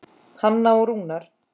Hanna og Rúnar.